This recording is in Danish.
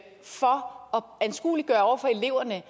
anskueliggøre over for eleverne at